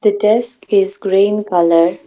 desk is green colour.